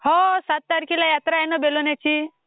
हो सात तारखेला यात्रा आहे ना बेलोन्याची.